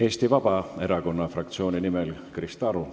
Eesti Vabaerakonna fraktsiooni nimel Krista Aru.